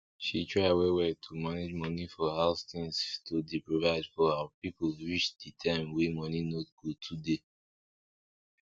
she try well well to manage money for house tins to dey provide for her people reach di time wey money no go too dey